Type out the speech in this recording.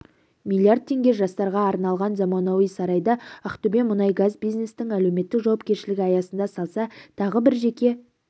миллиард теңге жастарға арналған заманауи сарайды ақтөбемұнайгаз бизнестің әлеуметтік жауапкершілігі аясында салса тағы бір жеке